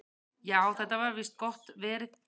"""Já, þetta var víst gott verð."""